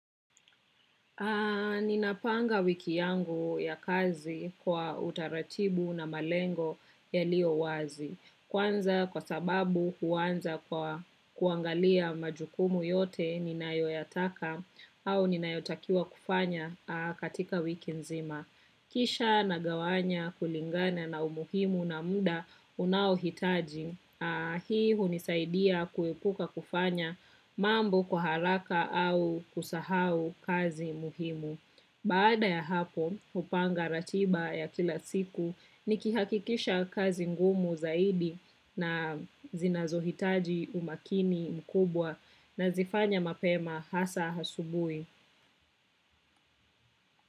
Ni napanga wiki yangu ya kazi kwa utaratibu na malengo yalio wazi. Kwanza kwa sababu kuanza kwa kuangalia majukumu yote ninoyoyataka au ninayotakiwa kufanya katika wiki nzima. Kisha na gawanya kulingana na umuhimu na muda unaohitaji, hii hunisaidia kuepuka kufanya mambo kwa haraka au kusahau kazi muhimu. Baada ya hapo, hupanga ratiba ya kila siku, nikihakikisha kazi ngumu zaidi na zinazo hitaji umakini mkubwa na zifanya mapema hasa asubuhi.